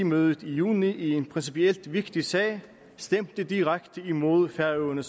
mødet i juni i en principielt vigtig sag stemte direkte imod færøerne